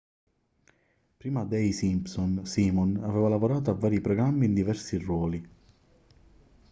prima de i simpson simon aveva lavorato a vari programmi in diversi ruoli